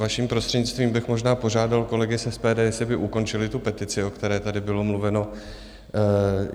Vaším prostřednictvím bych možná požádal kolegy z SPD, jestli by ukončili tu petici, o které tady bylo mluveno.